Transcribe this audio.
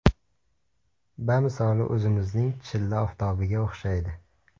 Bamisoli o‘zimizning chilla oftobiga o‘xshaydi.